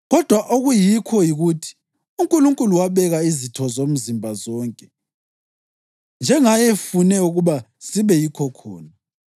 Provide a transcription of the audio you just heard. Kodwa okuyikho yikuthi uNkulunkulu wabeka izitho zomzimba, zonke, njengayefune ukuba zibe yikho khona.